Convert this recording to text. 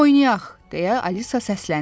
Oynayaq, deyə Alisa səsləndi.